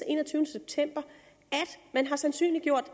enogtyvende september at man har sandsynliggjort at